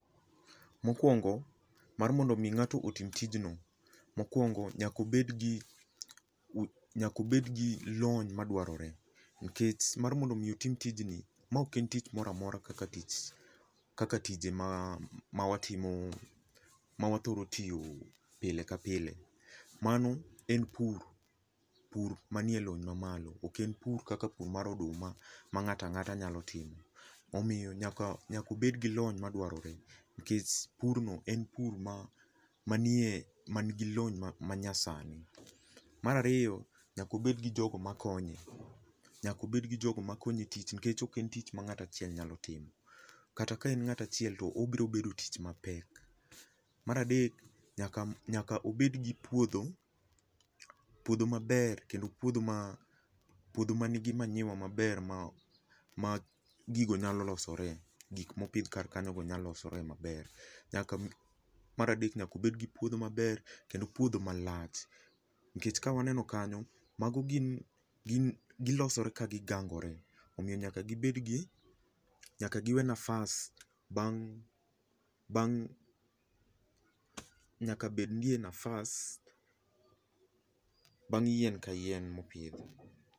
Mokuongo mar mondo mi ng'ato otim tijno, mokuongo nyaka obed gi, nyaka obed gi lony madwaroe nikech mar mondo mi otim tijni, ma oken tich moro amora kaka tich mawatimo, ma wathoro tiyo pile ka pile. Mano en pur, pur manie lony mamalo. Oken pur kaka pur mar odum ama ng'ato ka ngata nyalo timo omiyo nyaka obed gi lony madwarore nikech pur no en pur ma manie, man gi lony mnayasani. Mar ariyo nyaka obed gi jogo makonye, nyaka obed gi jogo makonye nikech oken tich ma ngato achiel nyalo timo kata ka en ngat achiel to obero bedo tich mapek. Mar adek nyaka, nyaka obed gi puodho, puodho maber kendo puodho ma, puodho manigi manyiwa maber ma gigo nyalo losore, gik mopidh kar kanyogo nyalo losore maber. Mar adek nyaka obed gi puodho maber kendo puodho malach nikech ka waneno kanyo, mago gin, gin, gilosore ka gigangore omiyo nyaka gibed gi, nyaka giwe nafas bang, bang, nyaka bed nie nafas bang yien ka yien mopidhi